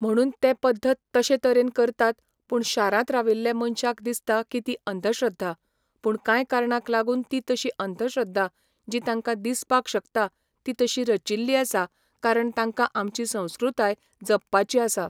म्हणून ते पद्दत तशें तरेन करतात पूण शारांत राविल्ले मनशांक दिसता की ती अंधश्रध्दा. पूण कांय कारणांक लागून ती तशी अंधश्रध्दा जी तांकां दिसपाक शकता ती तशी रचिल्ली आसात कारण तांकां आमची संस्क्रृताय जपपाची आसा